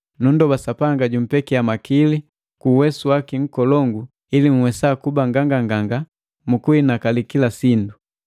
Nunndoba Sapanga jumpekiya makili ku uwesu waki nkolongu ili nhwesa kuba nganganganga mu kuhinakali kila sindu.